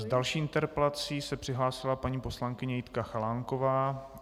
S další interpelací se přihlásila paní poslankyně Jitka Chalánková.